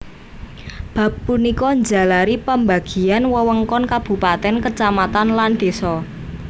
Bab punika njalari pambagian wewengkon kabupatèn kacamatan lan désa